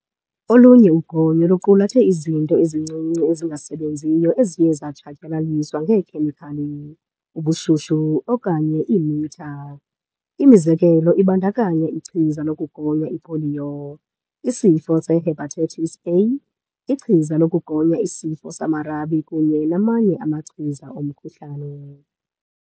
Olunye ugonyo luqulathe izinto ezincinci ezingasebenziyo eziye zatshatyalaliswa ngeekhemikhali, ubushushu, okanye imitha. Imizekelo ibandakanya ichiza lokugonya ipoliyo, isifo se-hepatitis A, ichiza lokugonya isifo samarabi kunye namanye amachiza omkhuhlane.